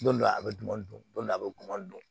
Don dɔ la a bɛ dumuni dun dɔ a bɛ dun